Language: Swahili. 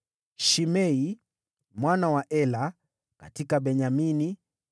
Shimei mwana wa Ela: katika Benyamini;